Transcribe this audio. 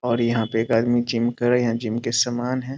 और यहां पे एक आदमी जिम कर रहा है यहां जिम का समान है।